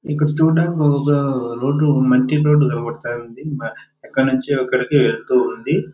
ఇక్కడ చూడడానికి ఒక రోడ్డు మట్టి రోడ్డు కనబడుతుంది ఎక్కడ నుంచి అక్కడికి వెళ్తూ ఉంధి.